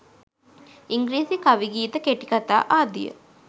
ඉංග්‍රීසි කවි ගීත කෙටිකතා ආදිය